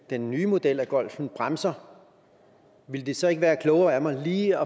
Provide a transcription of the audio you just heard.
den nye model af golfen bremser ville det så ikke være klogere af mig lige